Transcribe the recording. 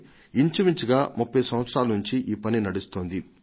ఇంచుమించుగా 30 సంవత్సరాల నుంచి ఆ పని సాగుతోంది